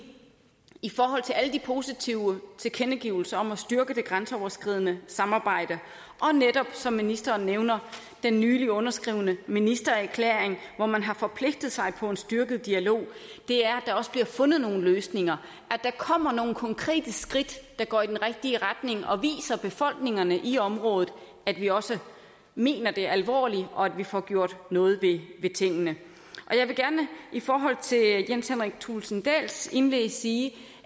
i forhold til alle de positive tilkendegivelser om at styrke det grænseoverskridende samarbejde og netop som ministeren nævner den nylig underskrevne ministererklæring hvor man har forpligtet sig på en styrket dialog er at der også bliver fundet nogle løsninger at der kommer nogle konkrete skridt der går i den rigtige retning og viser befolkningerne i området at vi også mener det alvorligt og at vi får gjort noget ved tingene jeg vil gerne i forhold til jens henrik thulesen dahls indlæg sige